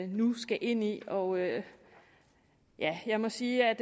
nu skal ind i og ja jeg må sige at